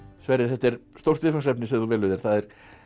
Sverrir þetta er stórt viðfangsefni sem þú velur þér það er